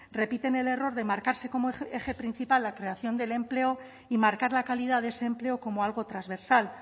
repiten el error de marcarse como eje principal la creación del empleo y marcar la calidad de ese empleo como algo transversal